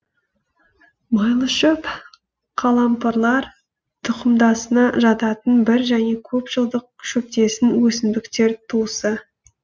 майлышөп қалампырлар тұқымдасына жататын бір және көп жылдық шөптесін өсімдіктер туысы